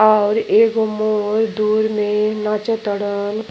और एगो मोर दूर में नाचतड़न --